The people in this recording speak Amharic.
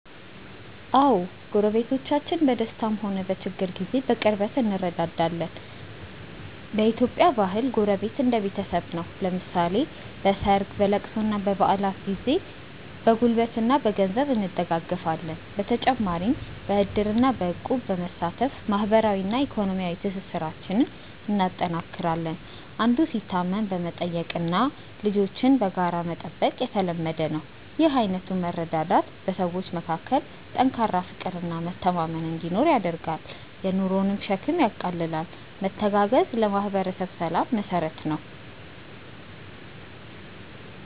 አዎ፣ ጎረቤቶቻችን በደስታም ሆነ በችግር ጊዜ በቅርበት እንረዳዳለን። በኢትዮጵያ ባህል ጎረቤት እንደ ቤተሰብ ነው፤ ለምሳሌ በሰርግ፣ በልቅሶና በበዓላት ጊዜ በጉልበትና በገንዘብ እንደጋገፋለን። በተጨማሪም በዕድርና በእቁብ በመሳተፍ ማህበራዊና ኢኮኖሚያዊ ትስስራችንን እናጠናክራለን። አንዱ ሲታመም መጠየቅና ልጆችን በጋራ መጠበቅ የተለመደ ነው። ይህ አይነቱ መረዳዳት በሰዎች መካከል ጠንካራ ፍቅርና መተማመን እንዲኖር ያደርጋል፤ የኑሮንም ሸክም ያቃልላል። መተጋገዝ ለማህበረሰብ ሰላም መሰረት ነው።